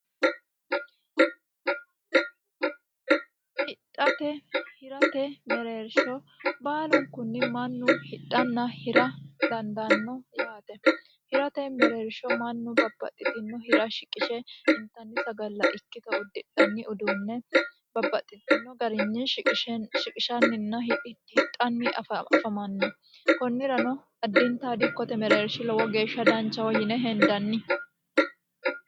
hidhate hirate mereersho baalunkunni mannu hidhanna hira dandaanno yaate hirate mereersho mannu babbaxxitino hira shiqishe intanni sagalla ikkito uddidhanni uduunne babbaxxitino garinni shiqishanninna hixanni afamanno kunnirano addinta dikkote mereershi lowo geeshsha danchaho yine hendanni